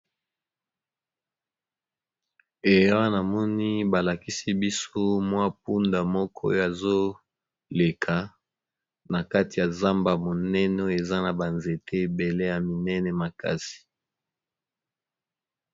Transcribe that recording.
Ee na moni ba lakisi biso mwa punda moko oyo azo leka na kati ya zamba monene eza na ba nzete ebele ya minene makasi.